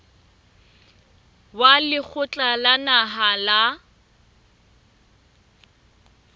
wa lekgotla la naha la